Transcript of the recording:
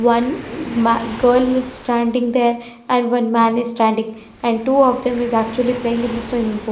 One ma girl is standing there and one man is standing and two of them is actually playing in the swimming pool.